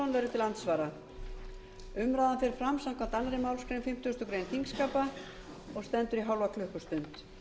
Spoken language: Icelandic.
til andsvara umræðan fer fram samkvæmt annarri málsgrein fimmtugustu grein þingskapa og stendur í hálfa klukkustund